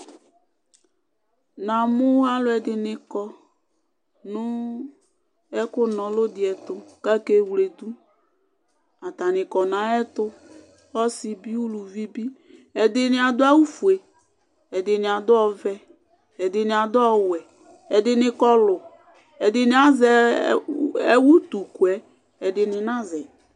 Na mʊ alʊɛdɩnɩ kɔ nʊ ɛkʊ nɔlʊ dɩyɛtʊ ake wledʊ Atanɩ kɔ naƴztʊ kake wledʊ Atanɩ kɔ nayɛtʊ ɔsɩ bɩ ʊlʊvɩ bɩ ɛdɩnɩ adʊ awʊ ofʊe, ɛdɩnɩ adʊ ɔvɛ ɛdɩnɩ adʊ ɔwɛ Ɛdinɩ kɔlʊ Ɛdinɩ azɛ ʊtʊkʊyɛ Ɛdɩnɩ nazɛ